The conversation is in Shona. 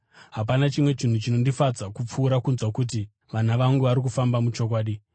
Hapana chimwe chinhu chinondifadza kupfuura kunzwa kuti vana vangu vari kufamba muchokwadi.